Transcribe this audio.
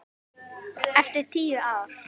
Eftir tíu ár.